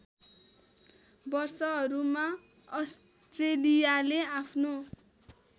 वर्षहरूमा अस्ट्रेलियाले आफ्नो